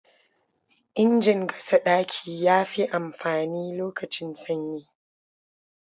Injin gasa ɗaki ya fi amfani lokacin sanyi.